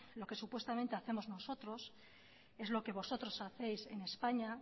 lo que supuestamente hacemos nosotros es lo que vosotros hacéis en españa